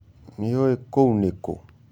Nĩũĩ kũu nĩ kũ?